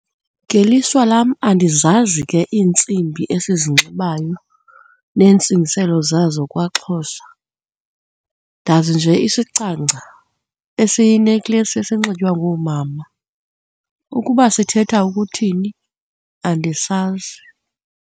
Ngelishwa lam andizazi ke iintsimbi esizinxibayo neentsingiselo zazo kwaXhosa, ndazi nje isicangca esiyinekleyisi esinxitywa ngoomama. Ukuba sithetha ukuthini andisazi.